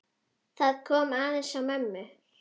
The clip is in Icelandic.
Það kom aðeins á mömmu.